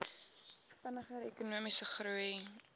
vinniger ekonomiese groei